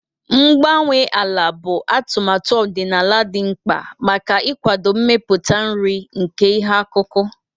Mgbanwe ala bụ atụmatụ ọdịnala dị mkpa maka ịkwado mmeputa nri nke ihe akụkụ.